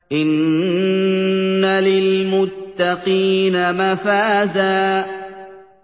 إِنَّ لِلْمُتَّقِينَ مَفَازًا